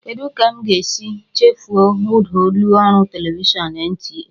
Kedu ka m ga-esi chefuo ụda ụlọ ọrụ televishọn NTA?